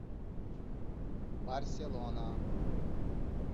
барселона